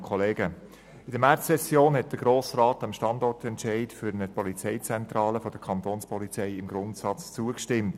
der BaK. Während der Märzsession 2017 stimmte der Grosse Rat dem Standortentscheid für eine Polizeizentrale der Kantonspolizei im Grundsatz zu.